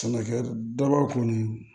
Sɛnɛkɛ daba kɔni